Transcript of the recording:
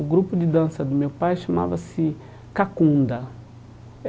O grupo de dança do meu pai chamava-se Kakunda.